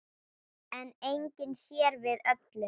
En enginn sér við öllum.